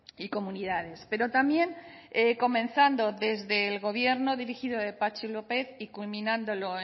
y comunidades pero también comenzando desde el gobierno dirigido por patxi lópez y culminándolo